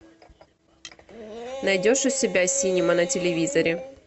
найдешь у себя синема на телевизоре